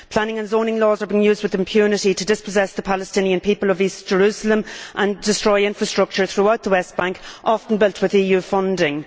Planning and zoning laws have been used with impunity to dispossess the Palestinian people of East Jerusalem and destroy infrastructure throughout the West Bank, often built with EU funding.